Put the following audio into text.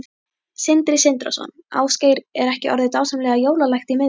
Sindri Sindrason: Ásgeir, er ekki orðið dásamlega jólalegt í miðbænum?